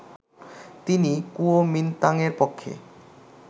তিনি কুওমিন্তাংয়ের পক্ষে